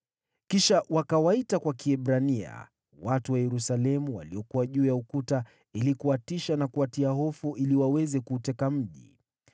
Kisha wakawaita kwa Kiebrania watu wa Yerusalemu waliokuwa juu ya ukuta ili kuwatisha na kuwatia hofu ili waweze kuuteka mji.